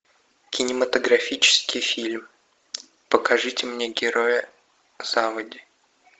кинематографический фильм покажите мне героя заводи